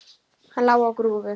Hann lá á grúfu.